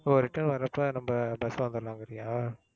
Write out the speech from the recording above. oh return வர்றப்ப நம்ப bus ல வந்துடலாங்கிறியா?